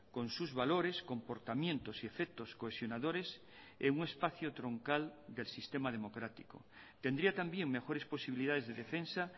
con sus valores comportamientos y efectos cohesionadores en un espacio troncal del sistema democrático tendría también mejores posibilidades de defensa